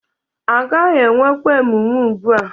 Agaghị enwekwa emume ugbu a